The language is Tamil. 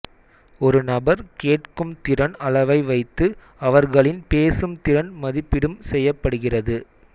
ஒரு நபர் கேட்கும் திறன் அளவை வைத்து அவர்களின் பேசும் திறன் மதிப்பிடும் செய்யபடுகிறது